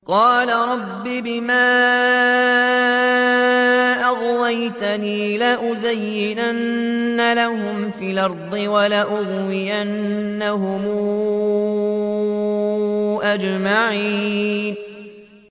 قَالَ رَبِّ بِمَا أَغْوَيْتَنِي لَأُزَيِّنَنَّ لَهُمْ فِي الْأَرْضِ وَلَأُغْوِيَنَّهُمْ أَجْمَعِينَ